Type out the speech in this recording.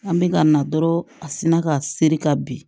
An bɛ ka na dɔrɔn a sinna ka seri ka bin